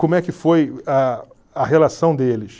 Como é que foi a a relação deles?